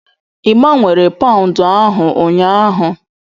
Ị gbanwere Paụndụ ahụ ụnyaahụ?